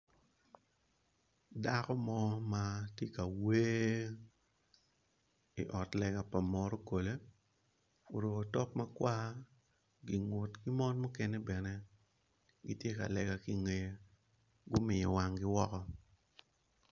Dako mo ma tye ka wer i ot lega pa morokole oruko otok ma kwar mon mogo gumiyo wanggi woko.